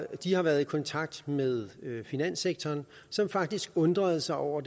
de har været i kontakt med finanssektoren som faktisk undrede sig over